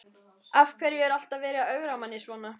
Af hverju er alltaf verið að ögra manni svona?